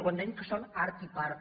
quan dèiem que són art i part